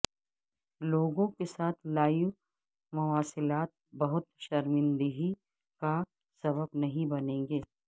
لوگوں کے ساتھ لائیو مواصلات بہت شرمندہی کا سبب نہیں بنیں گے